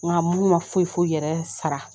Nka minnu ma foyi foyi yɛrɛ sara